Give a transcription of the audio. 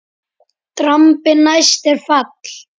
Drambi næst er fall.